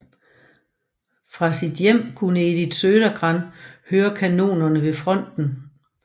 Fra sit hjem kunne Edith Södergran høre kanonerne ved fronten